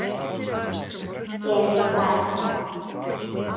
Elín hlær.